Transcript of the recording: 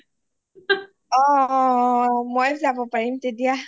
অঅঅ মই যাব পাৰিম তেতিয়া